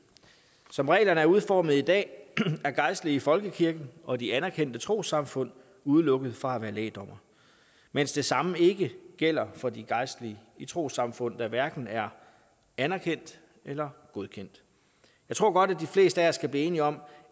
som reglerne er udformet i dag er gejstlige i folkekirken og de anerkendte trossamfund udelukket fra at være lægdommere mens det samme ikke gælder for de gejstlige i trossamfund der hverken er anerkendt eller godkendt jeg tror godt at de fleste af os kan blive enige om